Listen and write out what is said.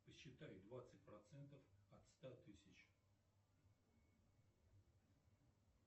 посчитай двадцать процентов от ста тысяч